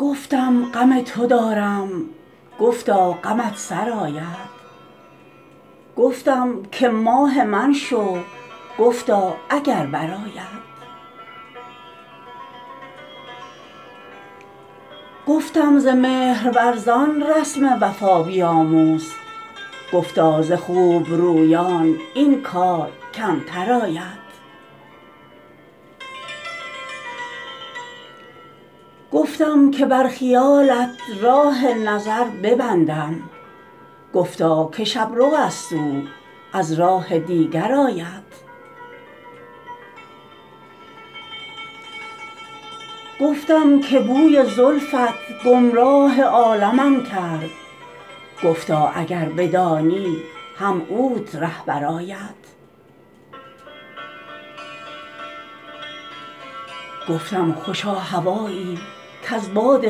گفتم غم تو دارم گفتا غمت سرآید گفتم که ماه من شو گفتا اگر برآید گفتم ز مهرورزان رسم وفا بیاموز گفتا ز خوب رویان این کار کمتر آید گفتم که بر خیالت راه نظر ببندم گفتا که شب رو است او از راه دیگر آید گفتم که بوی زلفت گمراه عالمم کرد گفتا اگر بدانی هم اوت رهبر آید گفتم خوشا هوایی کز باد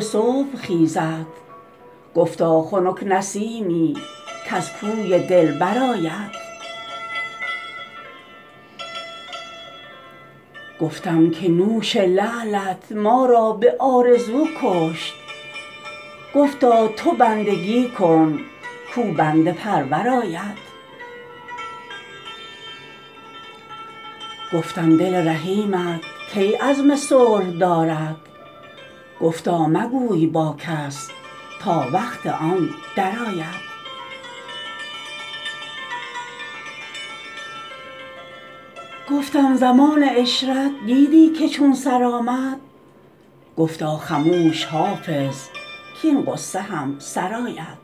صبح خیزد گفتا خنک نسیمی کز کوی دلبر آید گفتم که نوش لعلت ما را به آرزو کشت گفتا تو بندگی کن کاو بنده پرور آید گفتم دل رحیمت کی عزم صلح دارد گفتا مگوی با کس تا وقت آن درآید گفتم زمان عشرت دیدی که چون سر آمد گفتا خموش حافظ کـاین غصه هم سر آید